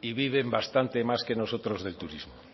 y viven bastante más que nosotros del turismo